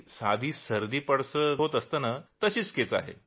साधी सर्दी पडसं होतं तशीच ही केस आहे